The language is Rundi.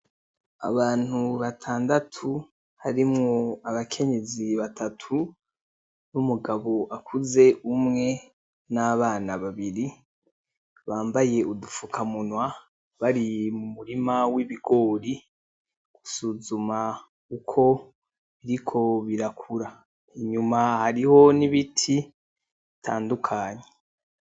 Abantu batandatu harimwo abakenyezi batatu numugabo akuze umwe nabana babiri bambaye udufukamunwa bari mumurima w'ibigori gusuzuma uko biriko birakura, inyuma hariho n'ibiti bitandukanye.